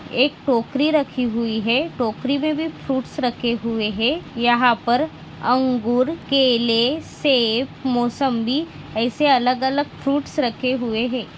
एक टोकरी राखी हुई है टोकरी में भी फ्रूट्स रखे हुए है यहाँ पर अंगूर केले सेफ मोसम्बी ऐसे अलग अलग फ्रूट्स रखे हुए है।